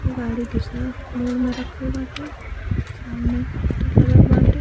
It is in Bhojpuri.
गाड़ी दूसरा मोड़ में रखल बाटे। सामने लागल बाटे।